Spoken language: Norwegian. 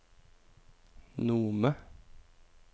Nome